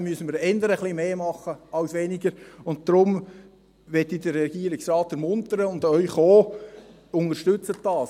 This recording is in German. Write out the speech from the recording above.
Wir müssen da eher etwas mehr als weniger machen, und deswegen möchte ich den Regierungsrat ermuntern und auch Sie: Unterstützen Sie das!